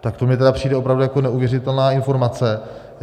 Tak to mi tedy přijde opravdu jako neuvěřitelná informace.